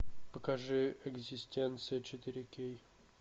покажи экзистенция четыре кей